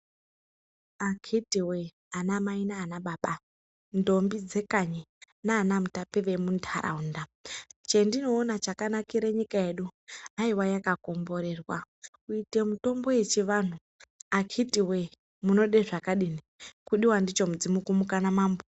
Akhiti voyee vanamai nanababa ndombi dzekanyi nana mutape vemuntaraunda. Chandinona chakanakira nyika yedu aiva yakakomborerwa kuite mitombo yechivantu akhiti voye munode zvakadini kumuka ndicho mudzimu namambo.